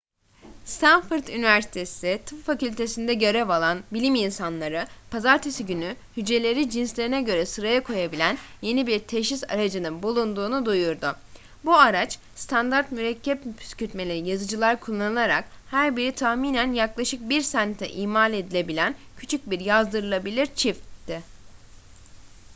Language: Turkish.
stanford üniversitesi tıp fakültesi'nde görev alan bilim insanları pazartesi günü hücreleri cinslerine göre sıraya koyabilen yeni bir teşhis aracının bulunduğunu duyurdu bu araç standart mürekkep püskürtmeli yazıcılar kullanılarak her biri tahminen yaklaşık bir sente imal edilebilen küçük bir yazdırılabilir çipti